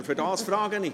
Deshalb frage ich.